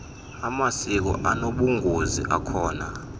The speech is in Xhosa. amasiko anobungozi akhona